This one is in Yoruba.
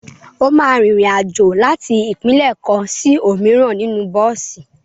O máa rin ìrìn-àjò láti ìpínlẹ̀ kan sí òmíràn nínú bọ́ọ̀sì.